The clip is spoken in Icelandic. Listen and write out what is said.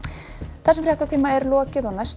þessum fréttatíma er lokið næstu